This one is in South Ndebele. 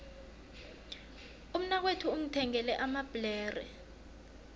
umnakwethu ungithengele amabhlere